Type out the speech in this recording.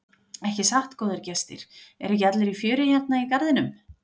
Ekki satt góðir gestir, eru ekki allir í fjöri hérna í garðinum?